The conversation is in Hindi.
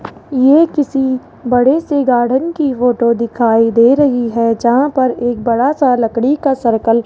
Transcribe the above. ये किसी बड़े से गार्डन की फोटो दिखाई दे रही है जहां पर एक बड़ा सा लकड़ी का सर्कल --